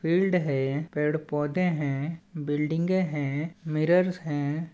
Field है पेड़ पौधे हैं बिल्डिंगे हैं मिरर्स हैं।